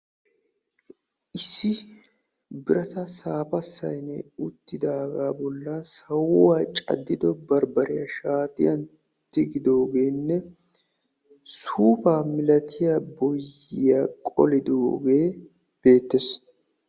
Issi birataa safaa sayniyaan uttidaga bollan sawuwa cadido barbare shaatiyan tigidogene suufaa milatiyaa boyiya qolidoge betees.